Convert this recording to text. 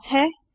class है